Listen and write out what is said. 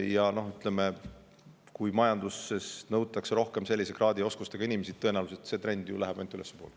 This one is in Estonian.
Ja kui majanduses nõutakse rohkem sellise kraadi ja oskustega inimesi, siis tõenäoliselt läheb see trend ainult ülespoole.